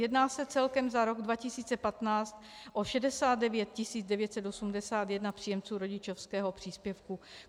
Jedná se celkem za rok 2015 o 69 981 příjemců rodičovského příspěvku.